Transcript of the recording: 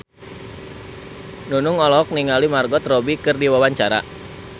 Nunung olohok ningali Margot Robbie keur diwawancara